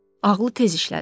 Ağlı tez işlədi.